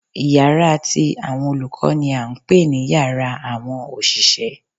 Yàrá ti àwọn olùkó ni à n pè ní yàrá àwọn òṣìṣẹ́